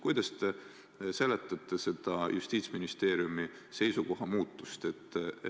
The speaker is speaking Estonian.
Kuidas te seletate seda Justiitsministeeriumi seisukoha muutust?